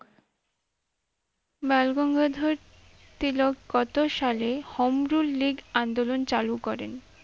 বালগঙ্গাধর তিলক কত সালে home rule league আন্দোলন চালু করেন?